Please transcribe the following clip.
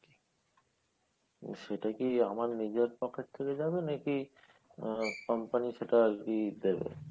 সেটা কী আমার নিজের pocket থেকে যাবে নাকি আহ company সেটা আর কী দিবে ?